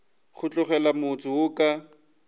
go tlogela motse wo ka